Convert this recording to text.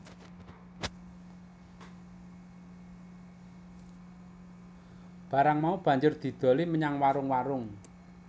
Barang mau banjur didoli menyang warung warung